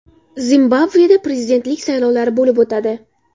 Zimbabveda prezidentlik saylovlari bo‘lib o‘tadi.